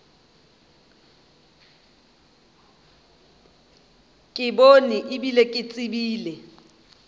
bone e bile ke tsebile